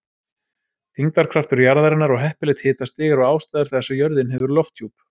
Þyngdarkraftur jarðarinnar og heppilegt hitastig eru ástæður þess að jörðin hefur lofthjúp.